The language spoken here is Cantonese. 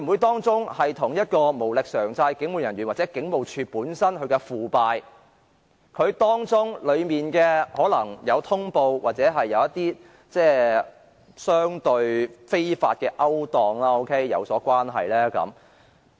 當中會否與無力償債的警務人員或警務處本身的腐敗，而當中更可能在通報上或與相對非法的勾當有關呢？